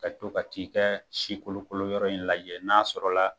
Ka to ka t'i kɛ si kolokolo yɔrɔ in lajɛ, n'a sɔrɔ la